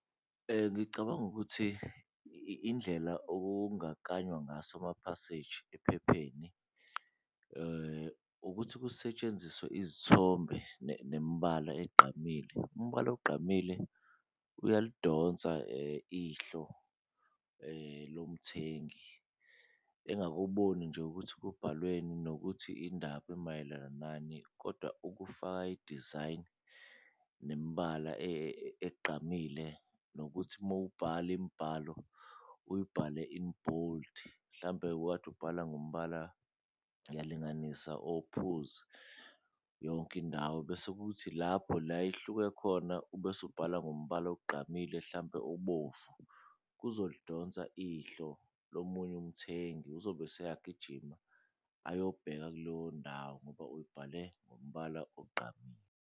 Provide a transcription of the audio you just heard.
Ngicabanga ukuthi indlela okungakanywa ngaso namaphaseji ephepheni ukuthi kusetshenziswe izithombe nemibala egqamile. Umbala ogqamile uyalidonsa ihlo lomthengi engakuboni nje ukuthi kubhalweni nokuthi indaba emayelana nani, kodwa ukufaka idizayini nemibala egqamile nokuthi mowubhala imibhalo uyibhale in bold. Hlampe ubukade ubhala ngombala, ngiyalinganisa ophuzi yonke indawo bese kuthi lapho la ihluke khona ube usubhala ngombala ogqamile hlampe ubovu, kuzolidonsa ihlo lomunye umthengi. Uzobe useyagijima ayobheka kuleyo ndawo ngoba uyibhale ngombala ogqamile.